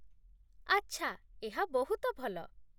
ଆଚ୍ଛା, ଏହା ବହୁତ ଭଲ।